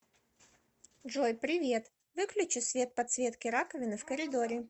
джой привет выключи свет подсветки раковины в коридоре